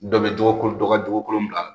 Dɔ be jogo kolon , dɔ ka jogo kolon bila